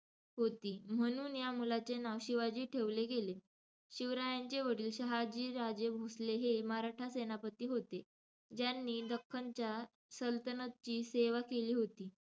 होती. म्हणून या मुलाचे नाव 'शिवाजी' ठेवले गेले. शिवरायांचे वडील शहाजीराजे भोंसले हे मराठा सेनापती होते, ज्यांनी दख्खनच्या सल्तनतची सेवा केली होती.